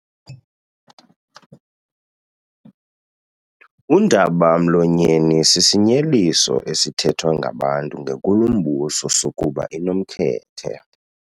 Undaba-mlonyeni sisinyeliso esithethwa ngabantu ngenkulumbuso sokuba inomkhethe.